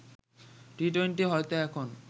T twenty হয়তো এখন